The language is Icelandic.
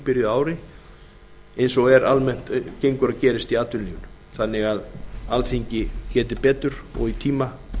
eftir áramót eins og almennt gengur og gerist í atvinnulífinu þannig að alþingi geti betur og í tíma